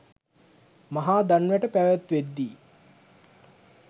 මහා දන් වැට පැවැත්වෙද්දී